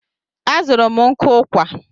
A zụrụ m nkụ ụkwà.